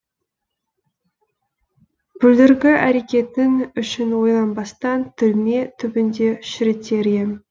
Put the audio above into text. бүлдіргі әрекетің үшін ойланбастан түрме түбінде шірітер ем